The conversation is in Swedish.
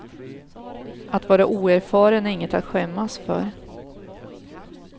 Att vara oerfaren är inget att skämmas för.